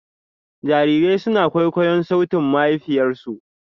Jarirai suna kwaikwayon sautin mahaifiyarsu.